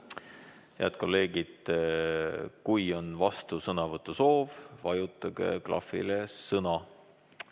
Head kolleegid, kui on vastusõnavõtu soov, vajutage klahvile "Sõna".